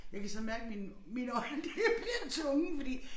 Jeg kan sådan mærke mine mine øjne de bliver tunge fordi